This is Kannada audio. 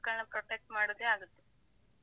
ಬೆಳಿಗ್ಗೆ ಅಂತೂ ಮಕ್ಕಳ್ನ protect ಮಾಡುದೇ ಆಗುತ್ತೆ.